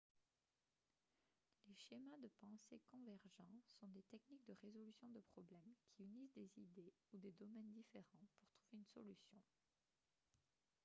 les schémas de pensée convergents sont des techniques de résolution de problèmes qui unissent des idées ou des domaines différents pour trouver une solution